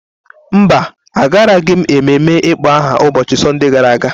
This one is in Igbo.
Mba, Agaraghị m ememme ịkpọ aha ụbọchị Sọnde gara aga.